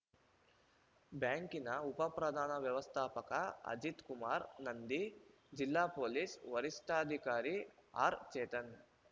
ಬ್ಯಾಂಕಿನ ಉಪ ಪ್ರಧಾನ ವ್ಯವಸ್ಥಾಪಕ ಅಜಿತ್‌ ಕುಮಾರ ನಂದಿ ಜಿಲ್ಲಾ ಪೊಲೀಸ್‌ ವರಿಷ್ಠಾಧಿಕಾರಿ ಆರ್‌ಚೇತನ್‌